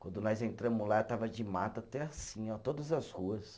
Quando nós entramos lá, estava de mato até assim, ó, todas as ruas.